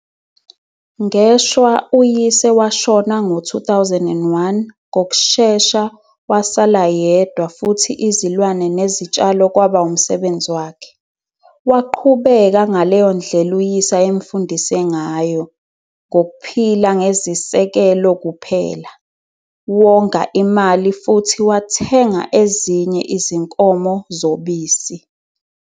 Ngeshwa uyise washona ngo-2001 ngokushesha wasala yedwa futhi izilwane nezitshalo kwaba umsebenzi wakhe. Waqhubeka ngaleyo ndlela uyise ayemfundise ngayo - ngokuphila ngezisekelo kuphela, wonga imali futhi wathenga ezinye izinkomo zobisi.